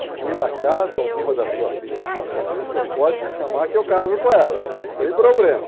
Se por acaso alguma das suas filhas ficar sorteira, o senhor pode me chamar que eu caso com ela, não tem problema.